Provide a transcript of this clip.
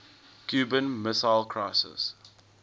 cuban missile crisis